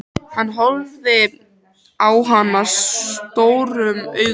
Hann horfði á hana stórum augum.